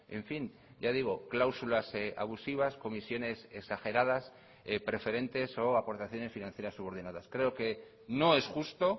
en fin ya digo cláusulas abusivas comisiones exageradas preferentes o aportaciones financieras subordinadas creo que no es justo